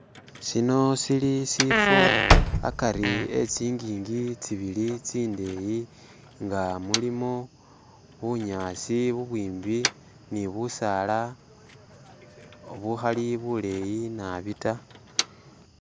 Sino sili sifo akari etsingingi tsibili tsindeyi nga mulimo bunyasi bubwimbi ni busaala buhali buleyi nabi tta.